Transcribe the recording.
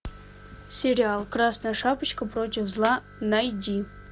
сериал красная шапочка против зла найди